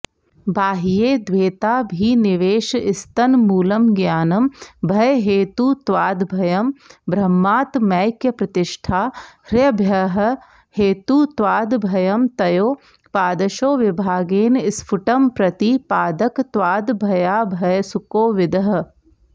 बाह्ये द्वैताभिनिवेशस्तन्मूलमज्ञानं भयहेतुत्वाद्भयं ब्रह्मात्मैक्यप्रतिष्ठा ह्यभयहेतुत्वादभयं तयोः पादशो विभागेन स्फुटम्प्रतिपादकत्वाद्भयाभयसुकोविदः